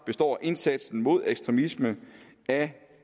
består indsatsen mod ekstremisme af